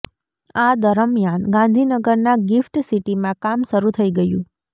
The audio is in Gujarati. આ દરમિયાન ગાંધીનગરના ગિફ્ટ સિટીમાં કામ શરૂ થઇ ગયું